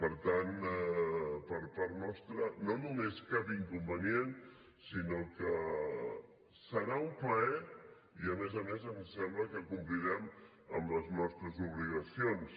per tant per part nostra no només cap inconvenient sinó que serà un plaer i a més a més ens sembla que complirem amb les nostres obligacions